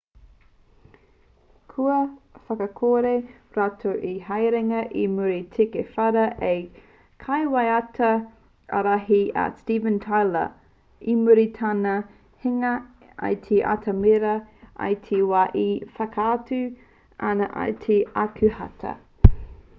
kua whakakore rātou i te haerenga i muri i te whara a te kaiwaiata ārahi a steven tyler i muri i tana hinga i te atamira i te wā e whakaatu ana i te 5 o ākuhata